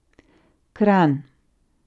Kranj.